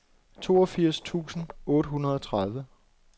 toogfirs tusind otte hundrede og tredive